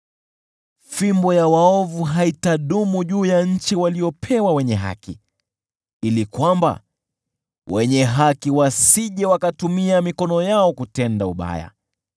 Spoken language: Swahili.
Fimbo ya waovu haitadumu juu ya nchi waliopewa wenye haki, ili wenye haki wasije wakatumia mikono yao kutenda ubaya.